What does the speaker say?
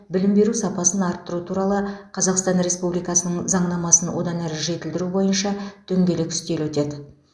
білім беру сапасын арттыру туралы қазақстан республикасының заңнамасын одан әрі жетілдіру бойынша дөңгелек үстел өтеді